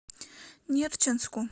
нерчинску